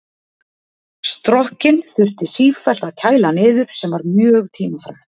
Strokkinn þurfti sífellt að kæla niður sem var mjög tímafrekt.